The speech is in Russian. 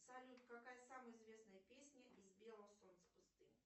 салют какая самая известная песня из белого солнца пустыни